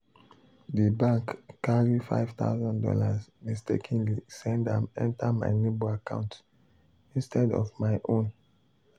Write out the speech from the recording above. the bank carry five thousand dollars mistakenly send am enter my neighbor account instead of my own.